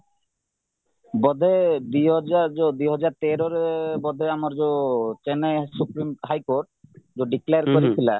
ବୋଧେ ଦୁଇହଜାର ଯୋଉ ଦୁଇହଜାରତେରରେ ବୋଧେ ଆମର ଯୋଉ Chennai supreme high କୋର୍ଟ ଯୋଉ declare କରିଥିଲା